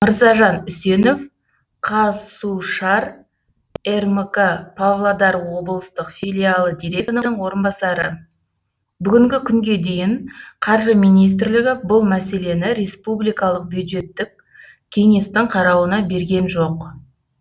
мырзажан үсенов қазсушар рмк павлодар облыстық филиалы директорының орынбасары бүгінгі күнге дейін қаржы министрлігі бұл мәселені республикалық бюджеттік кеңестің қарауына берген жоқ